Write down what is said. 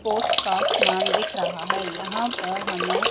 sports का समान दिख रहा है यहां पर हमें--